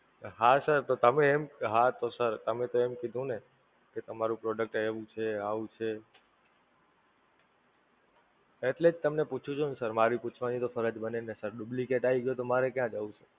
હા Sir તો તમે એમ હા તો Sir તમે તો એમ કીધું ને કે તમારું Product એવું છે, આવું છે, એટલે જ તમને પૂછું છું ને Sir, મારી પૂછવાની તો ફરજ બને ને Sir, duplicate આવી ગ્યું હોય તો માંરે ક્યાં જવું Sir?